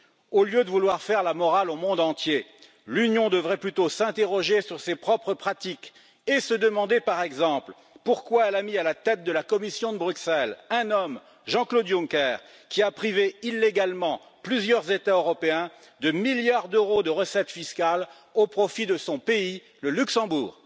Au lieu de vouloir faire la morale au monde entier, l'Union devrait plutôt s'interroger sur ses propres pratiques et se demander, par exemple, pourquoi elle a mis à la tête de la Commission de Bruxelles, un homme, Jean Claude Juncker, qui a privé illégalement plusieurs États européens de milliards d'euros de recettes fiscales au profit de son pays, le Luxembourg.